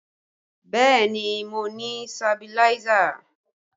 Bẹẹ ni, mo ní sabiláísà